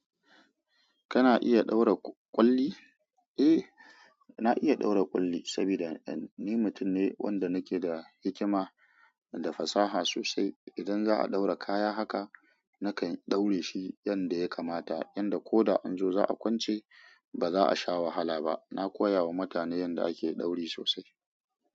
Kana iya ɗaura ƙwalli? Eh, na iya ɗaura ƙwalli saboda ni mutum ne wanda nake da hikima da fasaha sosai. Idan za'a ɗaura kaya haka, nakan ɗaura shi yanda ya kamata, yanda ko da an zo za'a kwance ba za a sha wahala ba. Na koya wa mutane yanda ake ɗauri sosai.